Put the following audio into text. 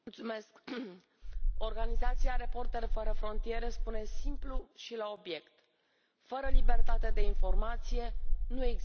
Organizația Reporteri fără frontiere spune simplu și la obiect fără libertatea de informație, nu există opozanți.